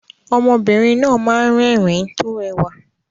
Ọmọbìnrin náà máa ń rẹ́rìn-ín tó rẹwà